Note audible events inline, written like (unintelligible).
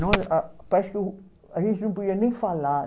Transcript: (unintelligible) Ah, parece que o a gente não podia nem falar.